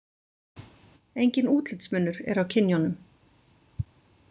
Enginn útlitsmunur er á kynjunum.